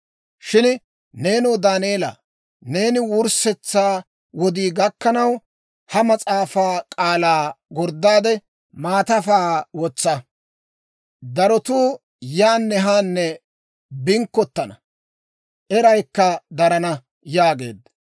«Shin nenoo Daaneela, neeni wurssetsaa wodii gakkanaw, ha mas'aafaa k'aalaa gorddaade, maatafaa wotsa. Darotuu yaanne haanne binkkottana; eraykka darana» yaageedda.